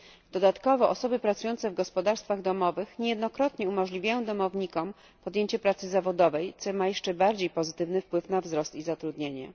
Dodatkowo osoby pracujące w gospodarstwach domowych niejednokrotnie umożliwiają domownikom podjęcie pracy zawodowej, co ma jeszcze bardziej pozytywny wpływ na wzrost i zatrudnienie.